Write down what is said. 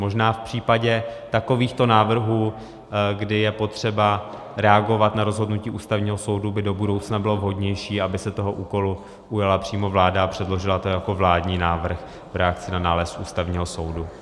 Možná v případě takovýchto návrhů, kdy je potřeba reagovat na rozhodnutí Ústavního soudu, by do budoucna bylo vhodnější, aby se toho úkolu ujala přímo vláda a předložila to jako vládní návrh v reakci na nález Ústavního soudu.